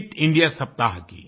fit India सप्ताह की